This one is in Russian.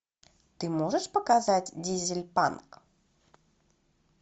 ты можешь показать дизель панк